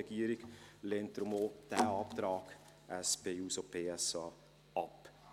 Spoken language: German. Deshalb lehnt die Regierung diesen Antrag der SP-JUSO-PSA auch ab.